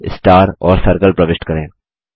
बादल स्टार और सर्कल प्रविष्ट करें